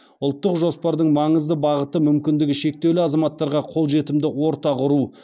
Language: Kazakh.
ұлттық жоспардың маңызды бағыты мүмкіндігі шектеулі азаматтарға қолжетімді орта құру